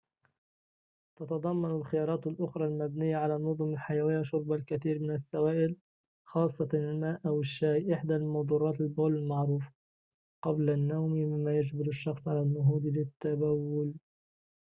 تتضمن الخيارات الأخرى، المبنية على النظم الحيوية، شرب الكثير من السوائل خاصة الماء أو الشاي، إحدى مُدرّات البول المعروفة قبل النوم، مما يجبر الشخص على النهوض للتبول